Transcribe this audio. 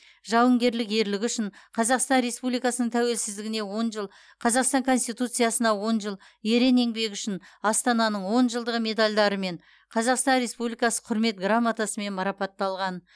жауынгерлік ерлігі үшін қазақстан республикасының тәуелсіздігіне он жыл қазақстан конституциясына он жыл ерен еңбегі үшін астананың он жылдығы медальдарымен қазақстан республикасы құрмет грамотасымен марапатталған